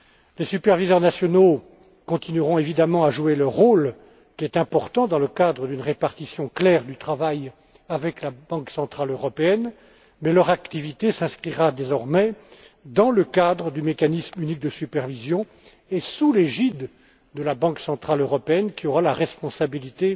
Les superviseurs nationaux continueront, évidemment, à jouer le rôle qui est important dans le cadre d'une répartition claire du travail avec la Banque centrale européenne, mais leur activité s'inscrira, désormais, dans le cadre du mécanisme unique de supervision et sera placée sous l'égide de la Banque centrale européenne, qui aura la responsabilité